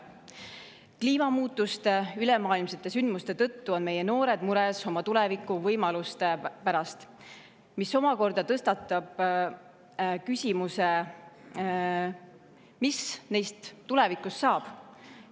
Ülemaailmsete kliimamuutustest sündmuste tõttu on meie noored mures oma tulevikuvõimaluste pärast, mis omakorda tõstatab küsimuse, mis neist tulevikus saab.